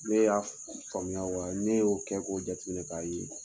Ne y'a faamuya wa ne y'o kɛ k'o jateminɛ ka ye